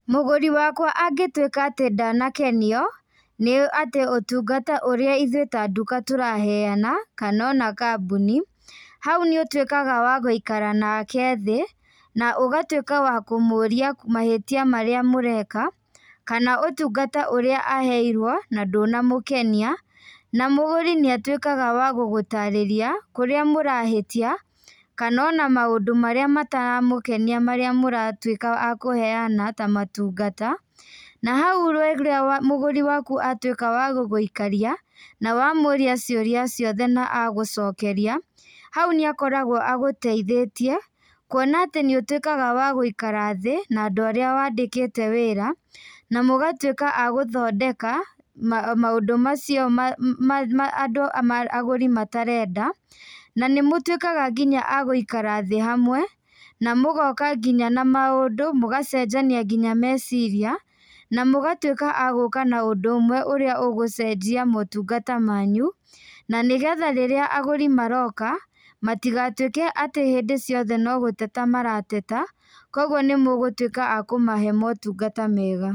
Mũgũri wakwa angĩtuĩka atĩ ndanakenio, nĩ atĩ ũtungata ũrĩa ithuĩ ta nduka tũraheana, kana ona kambuni, hau nĩ ũtuĩkaga wa gũikara nake thĩ, na ũgatuĩka wa kũmũũria mahĩtia marĩa mũreka, kana ũtungata ũrĩa aheirwo na ndũnamũkenia. Na mũgũri nĩ atuĩkaga wa gũgũtarĩria, kũrĩa mũrahĩtia, kana ona maũndũ marĩa mataramũkenia marĩa mũratuĩka a kũheana ta matungata. Na hau rĩrĩa mũgũri waku atuĩka wa gũgũikaria, na wamũũria ciũria ciothe na agũcokeria, hau nĩ akoragwo agũteithĩtie, kuona atĩ nĩ ũtuĩkaga wa gũikara thĩ, na andũ arĩa wandĩkĩte wĩra, na mũgatuĩka a gũthondeka, maũndũ macio andũ agũri matarenda. Na nĩ mũtuĩkaga nginya a gũikara thĩ hamwe, na mũgoka nginya na maũndũ, mũgacenjania nginya meciria, na mũgatuĩka a gũka na ũndũ ũmwe ũrĩa ũgũcenjia motungata manyu, na nĩgetha rĩrĩa agũri maroka, matigatuĩke atĩ hĩndĩ ciothe no gũteta marateta, kũguo nĩ mũgũtuĩka a kũmahe motungata mega.